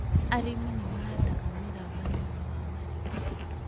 Arĩmi nĩ mahandaga mĩramba nĩũndũ wa marigũ.